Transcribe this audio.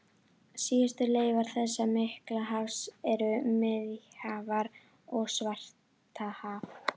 Síðustu leifar þessa mikla hafs eru Miðjarðarhaf og Svartahaf.